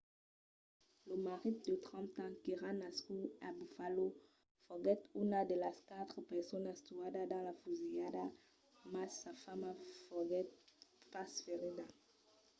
lo marit de 30 ans qu'èra nascut a buffalo foguèt una de las quatre personas tuadas dins la fusilhada mas sa femna foguèt pas ferida